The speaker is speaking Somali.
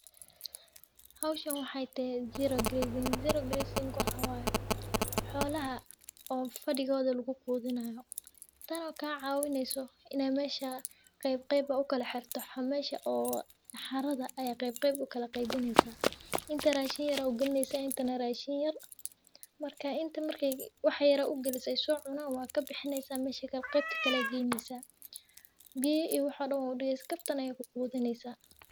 Hishan waxee tehe zero grazing ,zero grazing waxaa waye xolaha oo fadigodha lagu qudhinayo tan oo ka cawineyso in aa mesha qeb qeb okala xirto waxaa mesha oo saxarada aya qeb qeb ukala qeybineysa intan oo shey aya ugalineysa intan rashin yar marka inta marka wixi yara ugaliso waa kabixineysa qebta kale aya galineysa biya iyo waxa dan waa u digeysa kabtan aya ku qudhineysa.